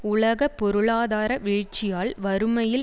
உலக பொருளாதார வீழ்ச்சியால் வறுமையில்